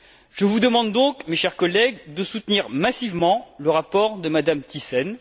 Je vous demande donc, mes chers collègues, de soutenir massivement le rapport de Mme Thyssen.